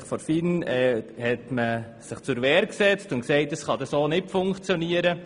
Die FIN hat sich zur Wehr gesetzt und gesagt, es könne so nicht funktionieren.